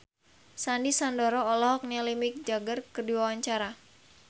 Sandy Sandoro olohok ningali Mick Jagger keur diwawancara